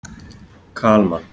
Kalman